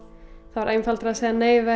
það var einfaldara að segja nei við